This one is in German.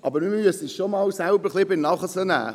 Aber wir müssen uns selber an der Nase nehmen.